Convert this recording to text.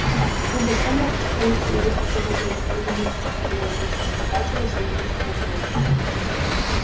либо сумрак растворится и выпустит добычу либо мальчишка превратится в обитателя сумеречного мира